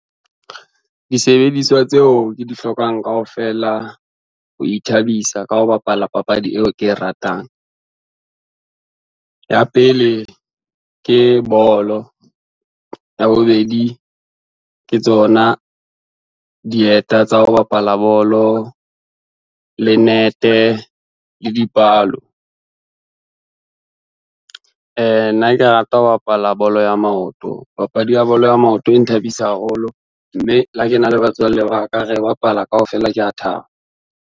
Disebediswa tseo ke di hlokang kaofela ho ithabisa ka ho bapala papadi eo ke e ratang, ya pele ke bolo, ya bobedi ke tsona dieta tsa ho bapala bolo, le nete le dipalo. Nna ke rata ho bapala bolo ya maoto, papadi ya bolo ya maoto e nthabisa haholo, mme le ha ke na le batswalle ba ka re bapala kaofela kea thaba.